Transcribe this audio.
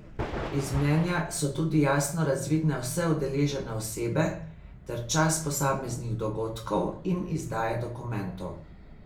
Iz mnenja so tudi jasno razvidne vse udeležene osebe ter čas posameznih dogodkov in izdaje dokumentov.